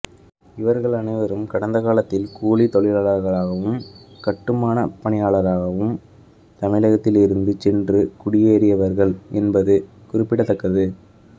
இவர்கள் அனைவரும் கடந்த காலங்களில் கூலி தொழிலாளர்களகவும் கட்டுமான பணியாளர்களாகவும் தமிழகத்தில் இருந்து சென்று குடியேரியவர்கள் என்பது குறிப்பிட தக்கது